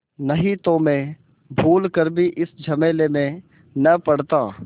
नहीं तो मैं भूल कर भी इस झमेले में न पड़ता